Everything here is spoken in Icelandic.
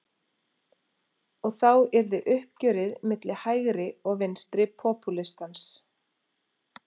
Og þá yrði uppgjörið milli hægri og vinstri popúlistans.